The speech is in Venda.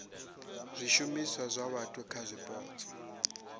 zwishumiswa zwa vhathu kha zwipotso